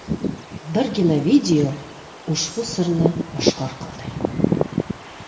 Birgina video ushbu sirni oshkor qildi .